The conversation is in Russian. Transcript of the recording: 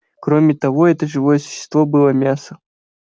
кроме того это живое существо было мясо